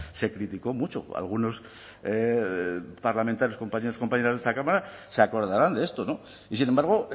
se criticó mucho algunos parlamentarios compañeros compañeras de esta cámara se acordarán de esto y sin embargo